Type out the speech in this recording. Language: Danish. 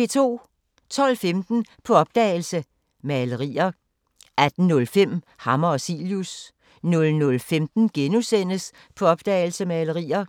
12:15: På opdagelse – Malerier 18:05: Hammer og Cilius 00:15: På opdagelse – Malerier *